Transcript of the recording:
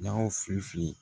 Jaw fi fi